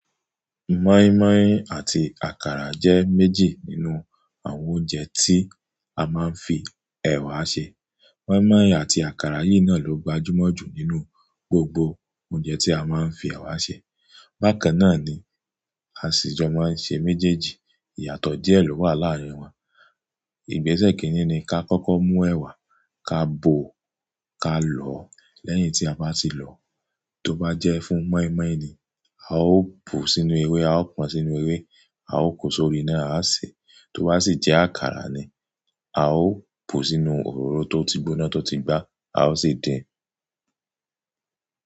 Mọ́ímọ́í àti àkàrà jẹ́ méjì nínú àwọn oúnjẹ tí a máa ń fi ẹ̀wà ṣe. Mọ́ímọ́í àti àkàrà yìí náà ló gbajúmọ̀ jù nínú gbogbo oúnjẹ tí a máa ń fi ẹ̀wà ṣe. Bákannáà ni a sì jọ máa ń ṣe méjèèjì. Ìyàtọ̀ díè ló wà láàárín wọn. Ìgbẹ́sẹ̀ kìíní ni ká kọ́kọ́ mú ẹ̀wà, ká bò ó, ká lọ̀ ọ́. Lẹ́yìn tí a bá ti lọ ọ, tó bá jẹ́ fún meimei ni, a ó bù ú sínú ewé, a pọ́n sínú ewé, a o kó sórí iná, a sé e. Tó bá sì jẹ́ àkàrà ni, a ó bù ú sínú òróró tó ti gbóná, tó ti gbá, a ó sì! Dín in.